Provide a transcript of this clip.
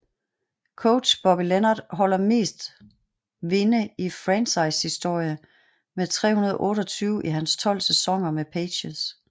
Coach Bobby Leonard holder mest vinde i franchise historie med 328 i hans 12 sæsoner med Pacers